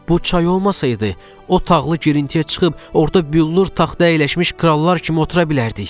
Bu çay olmasaydı, o tağlı girintiyə çıxıb orda büllur taxta əyləşmiş krallar kimi otura bilərdik.